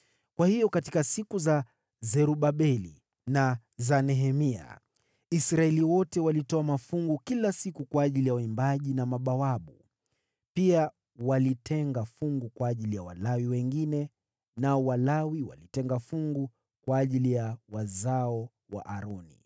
Kwa hiyo katika siku za Zerubabeli na za Nehemia, Israeli wote walitoa mafungu kila siku kwa ajili ya waimbaji na mabawabu. Pia walitenga fungu kwa ajili ya Walawi wengine, nao Walawi walitenga fungu kwa ajili ya wazao wa Aroni.